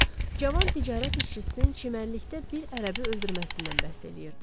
Cavan ticarət işçisinin çimərlikdə bir ərəbi öldürməsindən bəhs eləyirdi.